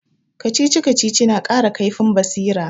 Kacici-kacici na kara kaifin basira